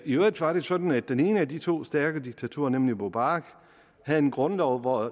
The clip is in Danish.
i øvrigt var det sådan at den ene af de to stærke diktatorer nemlig mubarak havde en grundlov hvori